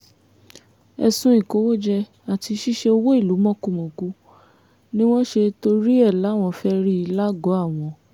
ẹ̀sùn ìkówójẹ àti ṣíṣe owó ìlú mọ́kùmọ̀kù ni wọ́n ṣe torí ẹ̀ láwọn fẹ́ẹ́ rí lágọ̀ọ́ àwọn